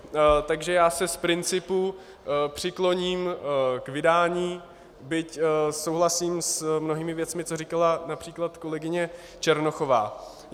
Takže já se z principu přikloním k vydání, byť souhlasím s mnohými věcmi, které říkala například kolegyně Černochová.